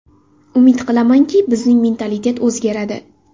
Umid qilamanki, bizning mentalitet o‘zgaradi.